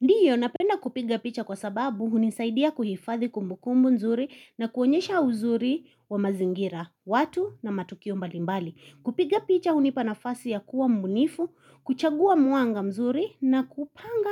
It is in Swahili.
Ndio napenda kupiga picha kwa sababu hunisaidia kuhifadhi kumbukumbu nzuri na kuonyesha uzuri wa mazingira, watu na matukio mbalimbali. Kupiga picha hunipanafasi ya kuwa mbunifu, kuchagua mwanga mzuri na kupanga